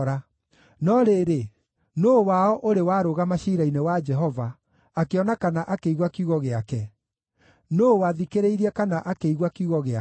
No rĩrĩ, nũũ wao ũrĩ warũgama ciira-inĩ wa Jehova, akĩona kana akĩigua kiugo gĩake. Nũũ wathikĩrĩirie kana akĩigua kiugo gĩake?